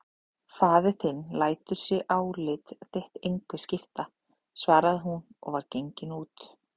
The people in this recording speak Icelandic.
Faðir þinn lætur sig álit þitt engu skipta, svaraði hún og var gengin út.